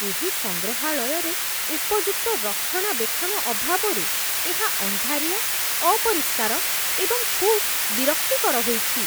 ଏହି ସଂଗ୍ରହାଳୟରେ ଉପଯୁକ୍ତ ରକ୍ଷଣାବେକ୍ଷଣ ଅଭାବରୁ ଏହା ଅନ୍ଧାରିଆ, ଅପରିଷ୍କାର, ଏବଂ ଖୁବ୍ ବିରକ୍ତିକର ହୋଇଛି